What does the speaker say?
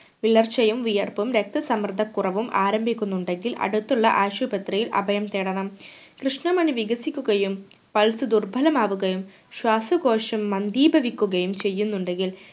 വിളർച്ചയും വിയർപ്പും രക്ത സമ്മർദ്ദക്കുറവും ആരംഭിക്കുന്നുണ്ടെങ്കിൽ അടുത്തുള്ള ആശുപത്രിയിൽ അഭയം തേടണം കൃഷ്‌ണ മണി വികസിക്കുകയും pulse ദുർബലമാവുകയും ശ്വാസകോശം മന്ദീഭവിക്കുകയും ചെയ്യുന്നുണ്ടെങ്കിൽ